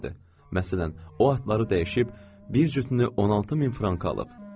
Məsələn, o atları dəyişib bir cütünü 16 min franka alıb.